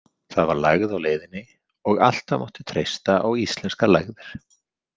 Það var lægð á leiðinni og alltaf mátti treysta á íslenskar lægðir.